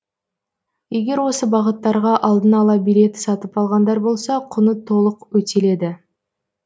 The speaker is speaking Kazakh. егер осы бағыттарға алдын ала билет сатып алғандар болса құны толық өтеледі